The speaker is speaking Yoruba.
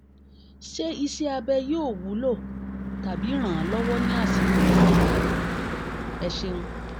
ṣé iṣẹ́-abẹ yóò wúlò tàbí ràn-án lọ́wọ́ ní àsìkò yìí? ẹ ṣéun